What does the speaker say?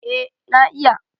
eh na iya